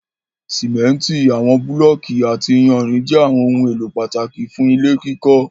Simenti, awọn bulọọki ati iyanrin jẹ awọn ohun elo pataki fun ile kikọ